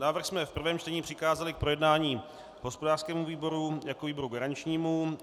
Návrh jsme v prvém čtení přikázali k projednání hospodářskému výboru jako výboru garančnímu.